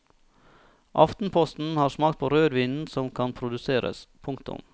Aftenposten har smakt på rødvinen som kan produseres. punktum